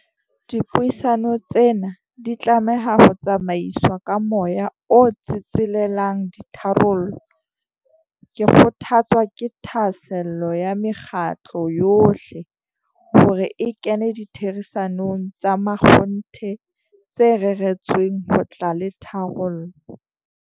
Dipuisano tsena di tlameha ho tsamaiswa ka moya o tsetselelang ditharollo. Ke kgothatswa ke thahasello ya mekgatlo yohle, hore e kene ditherisanong tsa makgonthe tse reretsweng ho tla le tharollo.